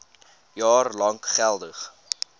jaar lank geldig